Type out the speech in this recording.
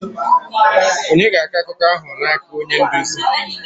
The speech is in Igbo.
Ònye ga-akọ akụkọ ahụ n'aka onye nduzi?